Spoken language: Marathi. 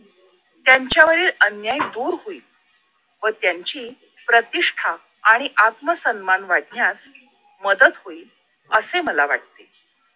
त्यांच्यावरील अन्याय दूर होईल व त्यांची प्रतिष्ठा आणि आत्मसन्मान वाढण्यास मदत होईल असे मला वाटते